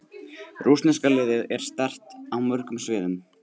Rússneska liðið er sterkt á mörgum sviðum.